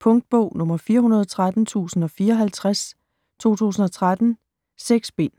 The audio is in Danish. Punktbog 413054 2013. 6 bind.